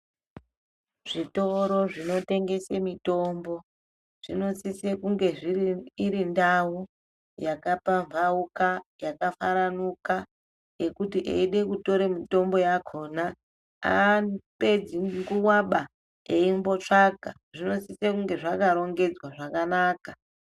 Zvitoro zvinotengese mitombo zvinosise kunge iri ndau yakapambauka yakafaranuka yekuti eide kutore mutombo yakona, haapedzi nguwaba eyimbotsvaka. Zvinosise kunge zvakarongedzwa zvakanaka.